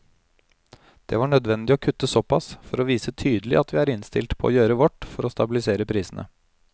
Det var nødvendig å kutte såpass for å vise tydelig at vi er innstilt på å gjøre vårt for å stabilisere prisene.